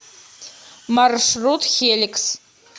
маршрут хеликс